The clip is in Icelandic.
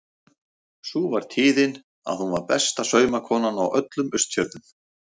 Sú var tíðin að hún var besta saumakonan á öllum Austfjörðum.